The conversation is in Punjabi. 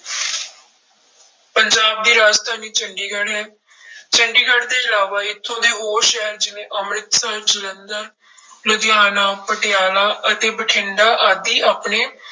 ਪੰਜਾਬ ਦੀ ਰਾਜਧਾਨੀ ਚੰਡੀਗੜ੍ਹ ਹੈ ਚੰਡੀਗੜ੍ਹ ਦੇ ਇਲਾਵਾ ਇੱਥੋਂ ਦੇ ਹੋਰ ਸ਼ਹਿਰ ਜਿਵੇਂ ਅੰਮ੍ਰਿਤਸਰ, ਜਲੰਧਰ ਲੁਧਿਆਣਾ, ਪਟਿਆਲਾ ਅਤੇ ਬਠਿੰਡਾ ਆਦਿ ਆਪਣੇ